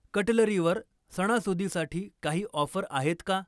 कटलरीवर सणासुदीसाठी काही ऑफर आहेत का?